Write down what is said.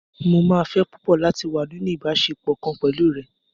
Mó máa fẹ́ púpọ̀ láti wá nínú ìbáṣepọ̀ kan pẹ̀lú rẹ.